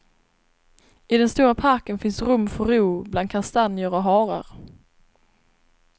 I den stora parken finns rum för ro bland kastanjer och harar.